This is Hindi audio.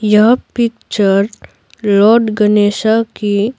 यह पिक्चर लॉर्ड गणेशा की --